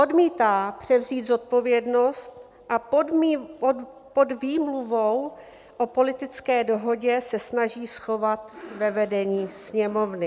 Odmítá převzít zodpovědnost a pod výmluvou o politické dohodě se snaží schovat ve vedení Sněmovny.